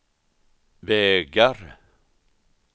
vägar